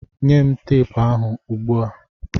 Nye m teepu ahụ ugbu a!